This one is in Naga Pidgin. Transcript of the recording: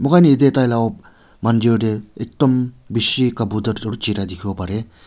moi kan yete taila mandir dae ektum bishi kabutar chiriya tikibo bare.